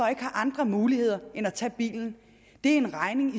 ikke har andre muligheder end at tage bilen er en regning